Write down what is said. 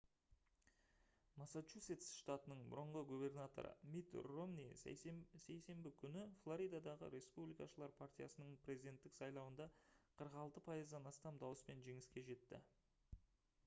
массачусетс штатының бұрынғы губернаторы митт ромни сейсенбі күні флоридадағы республикашылар партиясының президенттік сайлауында 46 пайыздан астам дауыспен жеңіске жетті